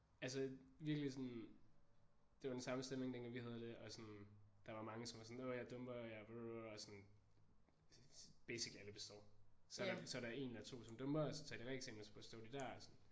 Altså virkelig sådan det var den samme stemning dengang vi havde det og sådan der var mange som var sådan nå jeg dumper jeg og sådan basically alle består. Så er der så er der 1 eller 2 som dumper og så tager de reeksamen og så består de der og sådan